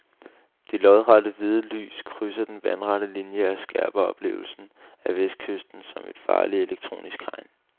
De lodrette hvide lys krydser den vandrette linie og skærper oplevelsen af vestkysten som et farligt elektronisk hegn.